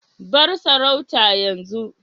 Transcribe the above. bar sarauta yanzu